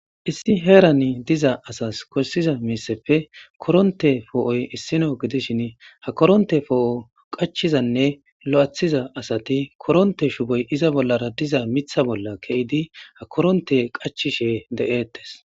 Issi heerani diza asas kossiza miiseppe koronte poo'oy issino gidishin ha koronte foo'o qachizanne lo'ethiza asati koronte shuboy iza bollara diza mitha bolla keyidi ha koronte qachishe de'eettes.